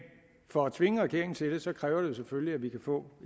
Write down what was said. for at tvinge regeringen til det kræver det selvfølgelig at vi kan få